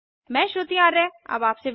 यह स्क्रिप्ट प्रभाकर द्वारा अनुवादित है